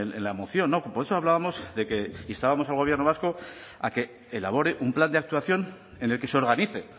en la moción por eso hablábamos de que instábamos al gobierno vasco a que elabore un plan de actuación en el que se organice